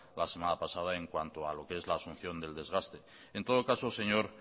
la semana pasada en cuanto a lo que es la asunción del desgaste en todo caso señor